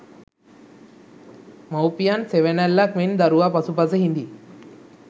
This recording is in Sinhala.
මවුපියන් සෙවනැල්ලක් මෙන් දරුවා පසුපස හිඳී.